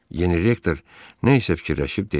Yeni rektor nə isə fikirləşib dedi: